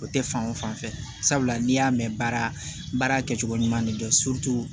O tɛ fan o fan fɛ sabula n'i y'a mɛn baara baara kɛcogo ɲuman de kɛ